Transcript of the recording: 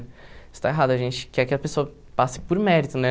Isso está errado, a gente quer que a pessoa passe por mérito, né?